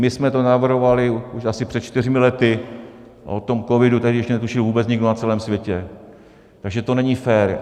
My jsme to navrhovali už asi před čtyřmi lety a o tom covidu tehdy ještě netušil vůbec nikdo na celém světě, takže to není fér.